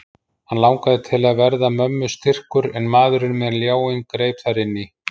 Hann langaði til að verða mömmu styrkur en maðurinn með ljáinn greip þar inn í.